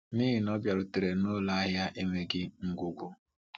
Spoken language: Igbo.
N’ihi na ọ bịarutere n’ụlọ ahịa enweghị ngwugwu.